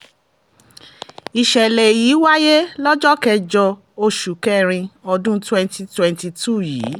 ìṣẹ̀lẹ̀ èyí wáyé lọ́jọ́ kẹjọ oṣù kẹrin ọdún twenty twenty-two yìí